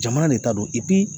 Jamana de ta don